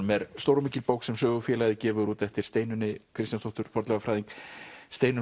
er stór og mikil bók sem Sögufélagið gefur út eftir Steinunni Kristjánsdóttur fornleifafræðing Steinunn